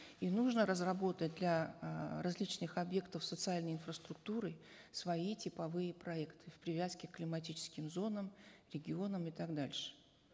и нужно разработать для эээ различных объектов социальной инфраструктуры свои типовые проекты в привязке к климатическим зонам регионам и так дальше